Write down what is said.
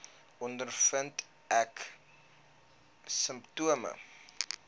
ondervind ek simptome